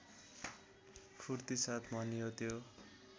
फूर्तिसाथ भन्यो त्यो